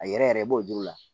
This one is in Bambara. A yɛrɛ yɛrɛ i b'o juru la